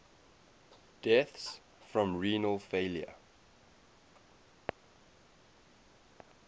deaths from renal failure